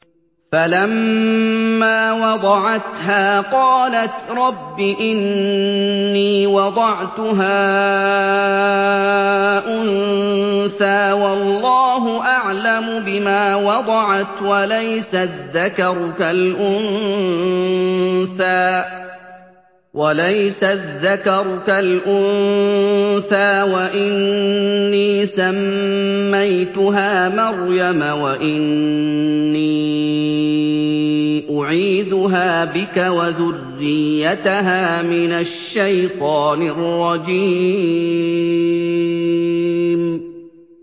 فَلَمَّا وَضَعَتْهَا قَالَتْ رَبِّ إِنِّي وَضَعْتُهَا أُنثَىٰ وَاللَّهُ أَعْلَمُ بِمَا وَضَعَتْ وَلَيْسَ الذَّكَرُ كَالْأُنثَىٰ ۖ وَإِنِّي سَمَّيْتُهَا مَرْيَمَ وَإِنِّي أُعِيذُهَا بِكَ وَذُرِّيَّتَهَا مِنَ الشَّيْطَانِ الرَّجِيمِ